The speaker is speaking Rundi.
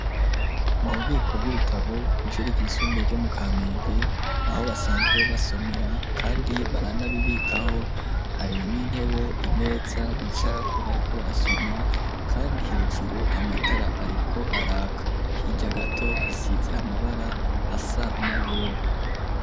Mu bubiko bw'ibitabo ijuri ry'isumbuye ryo mu Kamenge aho basanzwe basomera kandi baranabibikaho hari n'intebe imeza bicarako bariko barasoma kandi hejuru amatara ariko arako hirya gato hasize amabara asa na yera.